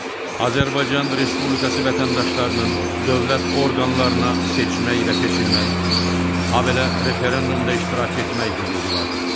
Azərbaycan Respublikası vətəndaşlarının dövlət orqanlarına seçmək və seçilmək, habelə referendumda iştirak etmək hüququ vardır.